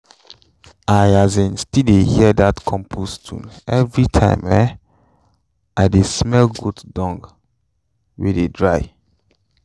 i um still dey hear dat compost tune every time um i dey smell goat dung wey dey dry